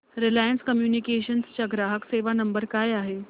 Reliance communications चा ग्राहक सेवा नंबर काय आहे